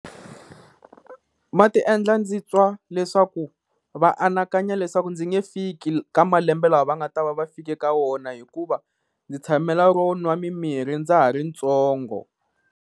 Ma ti endla ndzi twa leswaku va anakanya leswaku ndzi nge fiki ka malembe laha va nga ta va va fikile ka wona hikuva ndzi tshamela ro nwa mimirhi ndza ha ri ntsongo.